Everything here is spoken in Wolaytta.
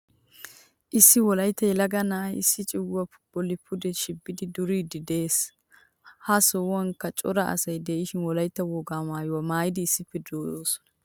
Issi wolaytta yelaga na'aay issi cugguwaa bolli pude shibidi duriddi de'ees. Ha sohuwankka cora asay de'ishin wolaytta wogaa maayuwaa maayidi issippe deosona.